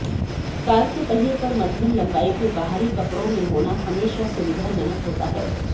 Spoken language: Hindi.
कार के पहिये पर मध्यम लंबाई के बाहरी कपड़ों में होना हमेशा सुविधाजनक होता है